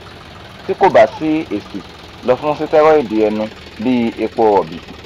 tí kò bá sí èsì lọ fún sitẹriọdu ẹnu bíi epo rọ̀bì